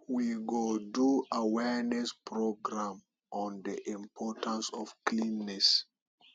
we go do awareness program on the importance of cleanliness